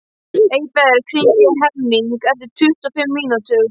Eyberg, hringdu í Hemming eftir tuttugu og fimm mínútur.